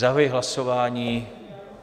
Zahajuji hlasování.